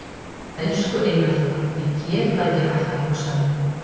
Elsku Einar Þór, ég get bara ekki hætt að hugsa um þig.